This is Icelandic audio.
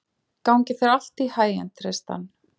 Gangi þér allt í haginn, Tristan.